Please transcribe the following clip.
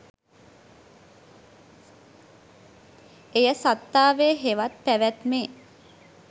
එය සත්තාවේ හෙවත් පැවැත්මේ